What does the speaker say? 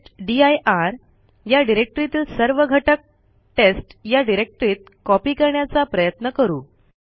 टेस्टदीर या डिरेक्टरीतील सर्व घटक टेस्ट या डिरेक्टरीत कॉपी करण्याचा प्रयत्न करू